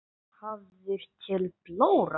Hafður til blóra?